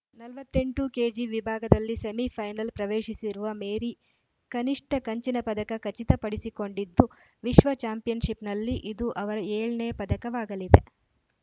ನಲವತ್ತ್ ಎಂಟು ಕೆಜಿ ವಿಭಾಗದಲ್ಲಿ ಸೆಮಿಫೈನಲ್‌ ಪ್ರವೇಶಿಸಿರುವ ಮೇರಿ ಕನಿಷ್ಠ ಕಂಚಿನ ಪದಕ ಖಚಿತಪಡಿಸಿಕೊಂಡಿದ್ದು ವಿಶ್ವ ಚಾಂಪಿಯನ್‌ಶಿಪ್‌ನಲ್ಲಿ ಇದು ಅವರ ಏಳ ನೇ ಪದಕವಾಗಲಿದೆ